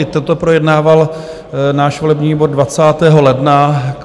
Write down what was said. I toto projednával náš volební výbor 20. ledna.